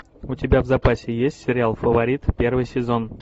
у тебя в запасе есть сериал фаворит первый сезон